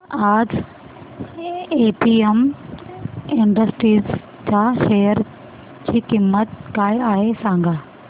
आज APM industries च्या share ची किंमत काय आहे सांगा